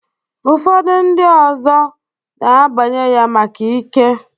Ụfọdụ ndị ọzọ na-abanye ya maka ike.